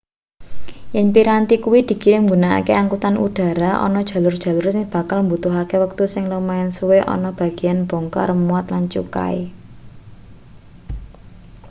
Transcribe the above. yen piranti kuwi dikirim nggunakake angkutan udara ana jalur-jalur sing bakal mbutuhake wektu sing lumayan suwe ana bageyan bongkar muat lan cukai